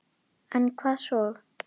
En hvað svo??